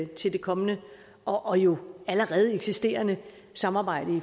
til det kommende og jo allerede eksisterende samarbejde